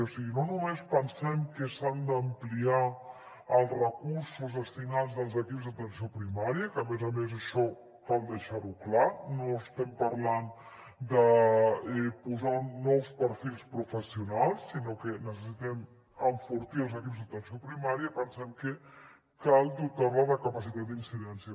o sigui no només pensem que s’han d’ampliar els recursos destinats als equips d’atenció primària que a més a més això cal deixar ho clar no estem parlant de posar nous perfils professionals sinó que necessitem enfortir els equips d’atenció primària pensem que cal dotar la de capacitat d’incidència